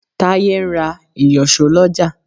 Táyé ń ra ìyọ̀ṣó lọ́jà.